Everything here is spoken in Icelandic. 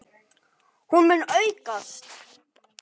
Hún muni aukast!